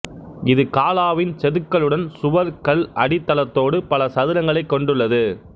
இது காலாவின் செதுக்கலுடன் சுவர் கல் அடித்தளத்தோடு பல சதுரங்களைக் கொண்டுள்ளது